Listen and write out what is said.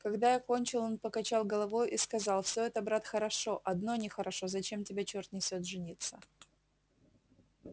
когда я кончил он покачал головою и сказал всё это брат хорошо одно нехорошо зачем тебя чёрт несёт жениться